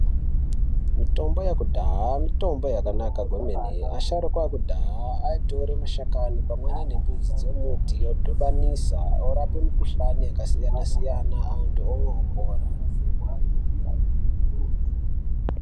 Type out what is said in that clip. Mitombo yekudhaya mitombo yakanaka kwemene, asharuka ekudhaya aitore mashakani pamweni nemidzi dzemiti odhivanisa orapa mikuhlani yakasiyana-siyana anthu omwa opora.